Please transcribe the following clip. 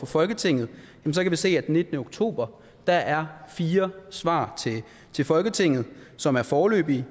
folketinget kan vi se at der den nittende oktober er fire svar til folketinget som er foreløbige